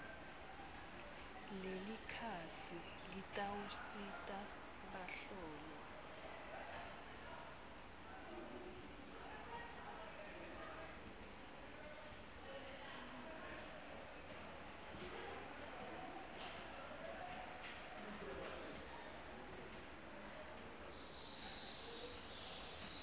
lelikhasi litawusita bahlolwa